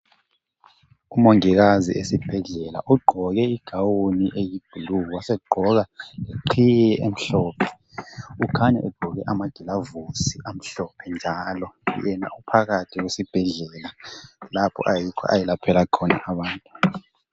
umongikazi esibhedlela ugqoke i gown eyi blue wasegqoka leqhiye emhlophe ukhanya egqoke ama gilovosi amhlophe njalo yena uphakathi kwesibhedlela lapho ayikho ayelaphela khona abantu